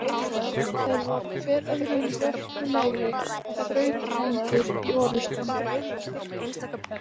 Þeir voru hver öðrum vörpulegri og þrautreyndir í orustum.